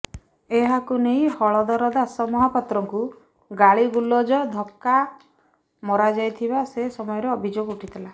ଏହାକୁ ନେଇ ହଳଧର ଦାସ ମହାପାତ୍ରଙ୍କୁ ଗାଳିଗୁଲଜ ଓ ଧକ୍କା ମରାଯାଇଥିବା ସେ ସମୟରେ ଅଭିଯୋଗ ଉଠିଥିଲା